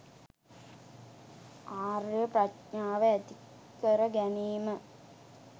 ආර්ය ප්‍රඥාව ඇතිකර ගැනීම.